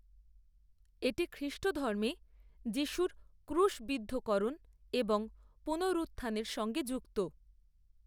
এটি খ্রিষ্টধর্মে যীশুর ক্রুশবিদ্ধকরণ এবং পুনরুত্থানের সঙ্গে যুক্ত হয়।